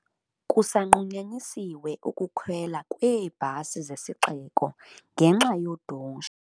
Kusanqunyanyisiwe ukukhwelwa kweebhasi zesiXeko ngenxa yodushe.